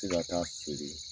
Se ka taa feere